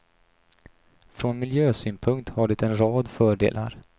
Från miljösynpunkt har det en rad fördelar.